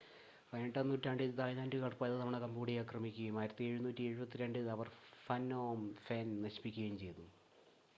18-ആം നൂറ്റാണ്ടിൽ തായ്‌ലാൻഡുകാർ പലതവണ കംബോഡിയ ആക്രമിക്കുകയും 1772-ൽ അവർ ഫ്നോം ഫെൻ നശിപ്പിക്കുകയും ചെയ്തു